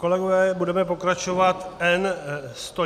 Kolegové, budeme pokračovat.